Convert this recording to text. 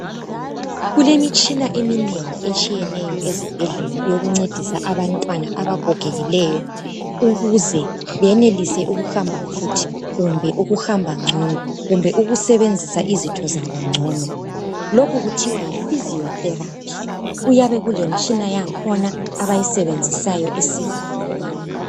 Kulemitshina eminengi etshiyeneyo ezibhedlela. Eyokuncedisa abantwana abagogekileyo. Ukuze benelise ukuhamba futhi, kumbe ukuhamba ngcono. Kumbe ukusebenzisa izitho zabo ngcono. Lokhu kuthia yiphysio therapy. Kuyabe kulemitshina yankhona, abayisebenzisayo, esiza abantwana.